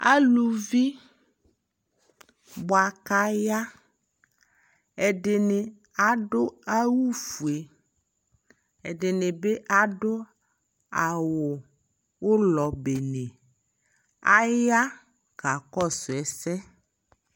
Aluvi bua ka yaƐdini adu awu fueƐdini bi adu awu ulɔ bene Aya ka kɔsu ɛsɛ